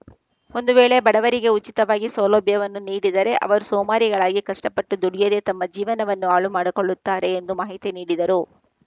ಒಂದು ವೇಳೆ ಬಡವರಿಗೆ ಉಚಿತವಾಗಿ ಸೌಲಭ್ಯವನ್ನು ನೀಡಿದರೆ ಅವರು ಸೋಮಾರಿಗಳಾಗಿ ಕಷ್ಟಪಟ್ಟು ದುಡಿಯದೆ ತಮ್ಮ ಜೀವನವನ್ನು ಹಾಳು ಮಾಡಿಕೊಳ್ಳುತ್ತಾರೆ ಎಂದು ಮಾಹಿತಿ ನೀಡಿದರು